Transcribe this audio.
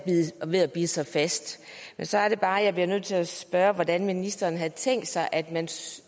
ved at bide sig fast men så er det bare jeg bliver nødt til at spørge hvordan ministeren havde tænkt sig at